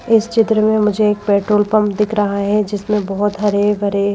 इस चित्र में मुझे एक पेट्रोल पंप दिख रहा है जिसमें बहुत हरे भरे --